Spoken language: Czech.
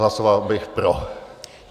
Hlasoval bych pro.